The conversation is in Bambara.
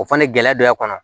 O fana ye gɛlɛya dɔ ye a kɔnɔ